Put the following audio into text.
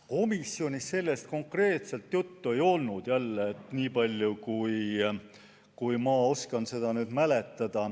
Komisjonis konkreetselt sellest juttu ei olnud, niipalju kui ma mäletan.